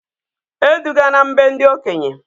E dugana m be ndị okenye!